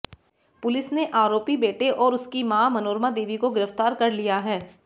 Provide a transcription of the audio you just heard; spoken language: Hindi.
पुलिस ने आरोपी बेटे और उसका मां मनोरमा देवी को गिरफ्तार कर लिया है